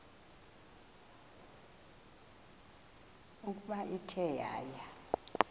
ukuba ithe yaya